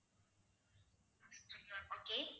okay